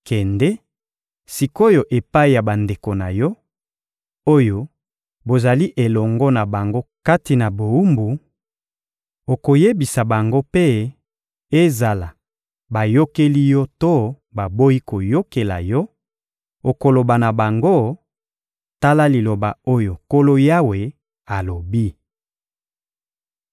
Kende sik’oyo epai ya bandeko na yo, oyo bozali elongo na bango kati na bowumbu; okoyebisa bango mpe, ezala bayokeli yo to baboyi koyokela yo, okoloba na bango: ‹Tala liloba oyo Nkolo Yawe alobi.›»